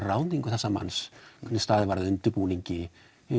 ráðningu þessa manns hvernig staðið var að undirbúningi